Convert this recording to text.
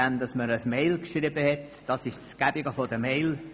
Das ist «gäbig» bei EMails, man hat gleich eine Kopie.